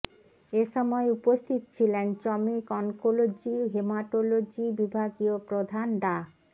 এ সময় উপস্থিত ছিলেন চমেক অনকোলজি হেমাটোলজি বিভাগীয় প্রধান ডা